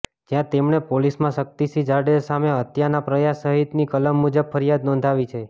જ્યાં તેમણે પોલીસમાં શક્તિસિંહ જાડેજા સામે હત્યાના પ્રયાસ સહિતની કલમ મુજબ ફરીયાદ નોંધાવી છે